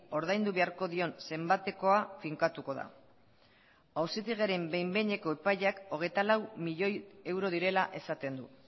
ordaindu beharko dion zenbatekoa finkatuko da auzitegiaren behin behineko epaiak hogeita lau milioi euro direla esaten du